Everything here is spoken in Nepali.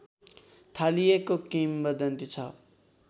थालिएको किंवदन्ती छ